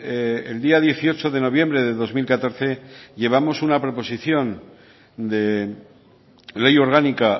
el día dieciocho de noviembre de dos mil catorce llevamos una proposición de ley orgánica